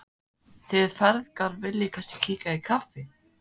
Þið feðgar viljið kannski kíkja í kaffi?